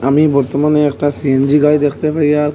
আমি বর্তমানে একটা সি_এন_জি গাড়ি দেখতে পাইয়া--